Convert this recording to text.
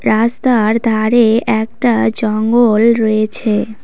রাস্তার ধারে একটা জঙ্গল রয়েছে।